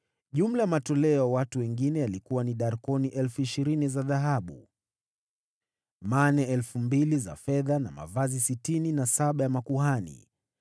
Jumla ya matoleo ya watu wengine yalikuwa ni darkoni 20,000 za dhahabu, mane 2,000 za fedha, na mavazi sitini na saba ya makuhani.